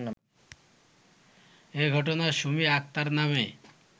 এ ঘটনায় সুমী আক্তার নামে